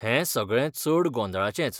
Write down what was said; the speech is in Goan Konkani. हें सगळें चड गोंदळाचेंच.